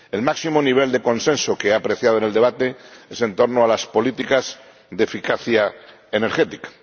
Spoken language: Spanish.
El máximo nivel de consenso que he apreciado en el debate es en torno a las políticas de eficacia energética.